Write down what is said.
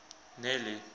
nelly